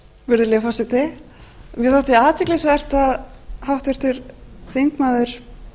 virðulegi forseti mér þótti athyglisvert að háttvirtur þingmaður